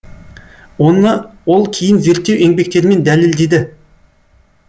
оны ол кейін зерттеу еңбектерімен дәлелдеді